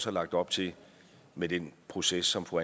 er lagt op til med den proces som fru